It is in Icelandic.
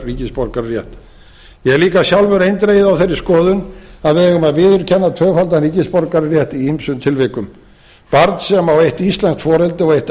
ríkisborgararétt ég er líka sjálfur eindregið á þeirri skoðun að við eigum að viðurkenna tvöfaldan ríkisborgararétt í ýmsum tilvikum barn sem á eitt íslenskt foreldri og eitt